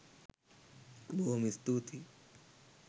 බොහෝම ස්තුතියි